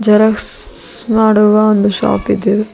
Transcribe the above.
Xerox ಮಾಡುವ ಒಂದು shop ಇದೆ ಇದು.